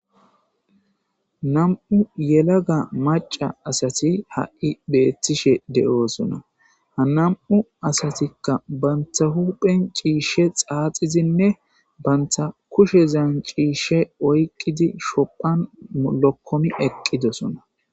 Nam7u yelaga maca asati ha7i beettishe de7oosona hanam7u asatikka bantha huphen ciishshe xaaxizinne bantha kushezan ciishe oyqqidi shophan lokkomi eqqidosona